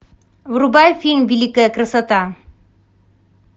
врубай фильм великая красота